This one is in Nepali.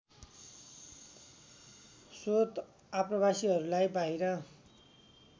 श्वेत आप्रवासीहरूलाई बाहिर